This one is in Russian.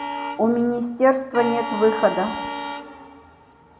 у министерства нет выхода